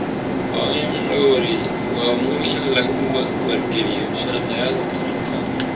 Waa muhiim in lagu wargeliyo sharciyada taranka.